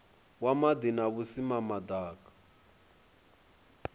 wa maḓi na vhusimama ḓaka